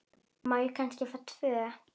Má ég kannski fá tvö?